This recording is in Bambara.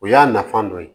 O y'a nafa dɔ ye